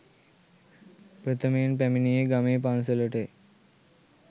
ප්‍රථමයෙන් පැමැණියේ ගමේ පන්සලටය